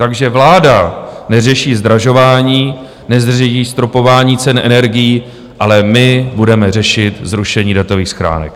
Takže vláda neřeší zdražování, neřeší stropování cen energií, ale my budeme řešit zrušení datových schránek.